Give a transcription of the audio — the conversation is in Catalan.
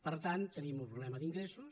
per tant tenim un problema d’ingressos